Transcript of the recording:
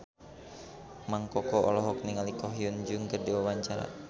Mang Koko olohok ningali Ko Hyun Jung keur diwawancara